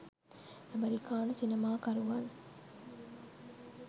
ඇමෙරිකානු සිනමා කරුවන්